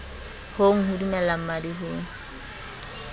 hong ho dumella mmadi ho